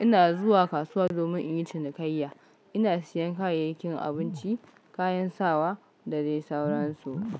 ina zuwa kasuwa domin in yi cinikayya. Ina siyan kayayyakin abinci, kayan sawa da dai sauransu.